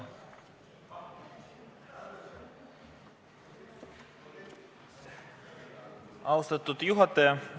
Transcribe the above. Austatud juhataja!